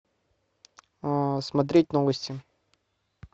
смотреть новости